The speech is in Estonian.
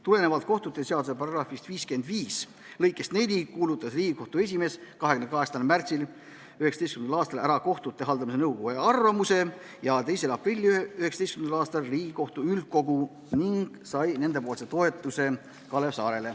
Tulenevalt kohtute seaduse § 55 lõikest 4 kuulutas Riigikohtu esimees 28. märtsil 2019. aastal välja kohtute haldamise nõukoja arvamuse ja 2. aprillil 2019. aastal Riigikohtu üldkogul sai Kalev Saare nende toetuse.